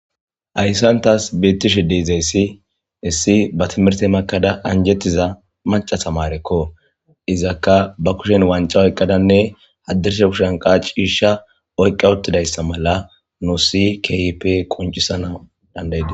Hayssan tas bettishe deizayssi issi ba timirtte makkada anjjetiza maaca tamareko izakka ba kushshen wancca oykkada hadirssa kushshen qa ciishsh oyqada utidayssa malla nus kehippe qonccisanaw dandaidess.